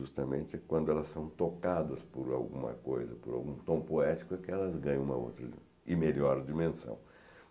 Justamente quando elas são tocadas por alguma coisa, por algum tom poético, é que elas ganham uma outra e melhor dimensão.